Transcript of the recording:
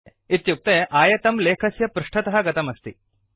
इत्युक्ते आयतं लेखस्य पृष्ठतः गतमस्ति